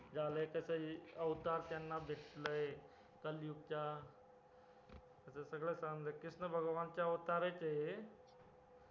एकाच अवतार त्यांना भेटलोय कलयुग चा असं सगळं सांगितलं कृष्णा चे अवतार आहेत ते